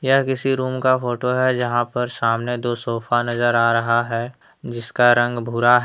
यह किसी रूम का फोटो है यहां पर सामने दो सोफा नजर आ रहा है जिसका रंग भूरा है।